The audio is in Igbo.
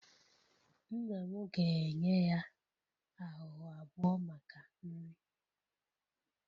Nna m ga-enye ya ahụhụ abụọ maka nri